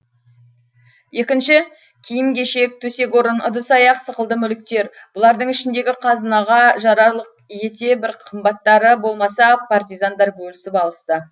екінші киім кешек төсек орын ыдыс аяқ сықылды мүліктер бұлардың ішіндегі қазынаға жарарлық ете бір қымбаттары болмаса партизандар бөлісіп алысты